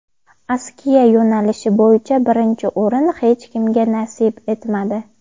Askiya yo‘nalishi bo‘yicha birinchi o‘rin hech kimga nasib etmadi.